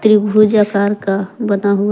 त्रिभुज आकार का बना हुआ--